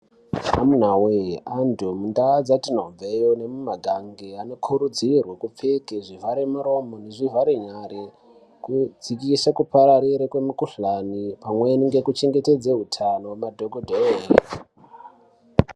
Amunawe antu mundaa dzatinobveyo nemumatangi anokurudzirwe kupfeke zvivhare muromo nezvivhare nyari kudzikise kupararire kwemikhuhlani pamweni ngekuchengetedze utano hwemadhokodheya edu.